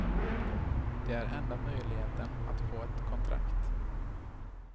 Det är enda möjligheten att få ett kontrakt.